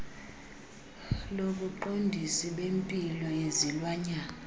lobuqondisi bempilo yezilwanyana